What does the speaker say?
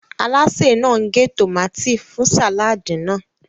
Alásè náà ń gé tòmátì fún sàláàdì náà.